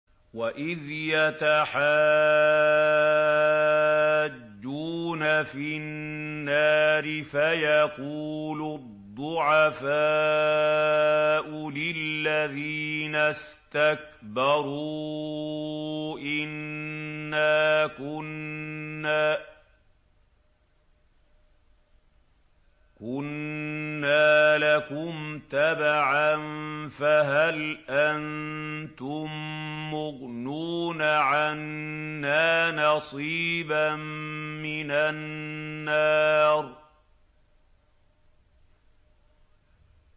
وَإِذْ يَتَحَاجُّونَ فِي النَّارِ فَيَقُولُ الضُّعَفَاءُ لِلَّذِينَ اسْتَكْبَرُوا إِنَّا كُنَّا لَكُمْ تَبَعًا فَهَلْ أَنتُم مُّغْنُونَ عَنَّا نَصِيبًا مِّنَ النَّارِ